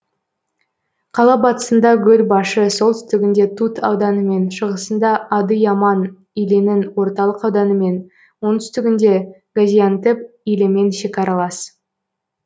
қала батысында гөлбашы солтүстігінде тут ауданымен шығысында адыяман илінің орталық ауданымен оңтүстігінде газиантеп илімен шекаралас